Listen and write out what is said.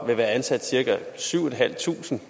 vil være ansat cirka syv tusind